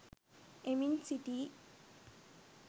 එමින් සිටියි.